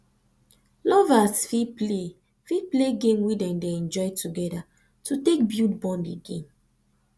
lovers fit play fit play game wey dem dey enjoy together to take bulid bond again